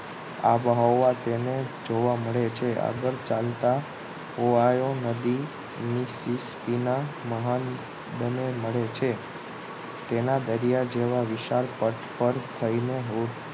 આબોહવા જેને જોવા મળે છે આગળ ચાલતા ઓહાયો નદી ની કીનારા મહાન બંને મળે છે તેના દરિયા જેવા વિશાળ પથ પર થઈને હો